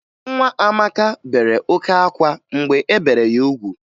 Nwa Amaka bere oke ákwá mgbe e bere ya ugwu